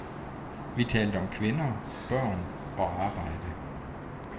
Vi talte om kvinder, børn og arbejde.